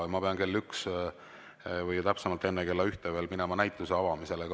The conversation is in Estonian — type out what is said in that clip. Ma pean kell üks või täpsemalt enne kella ühte minema näituse avamisele.